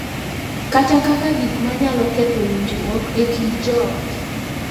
Kata kaka gik ma nyalo ketho winjruok e kind joot.